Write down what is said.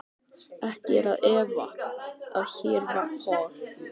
Ekki er að efa, að hér var Paul